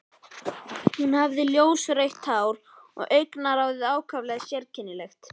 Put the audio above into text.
Hún hafði ljósrautt hár og augnaráðið ákaflega sérkennilegt.